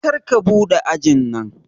Karka buɗe ajin nan